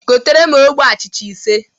Goteere m ogbe achịcha ise!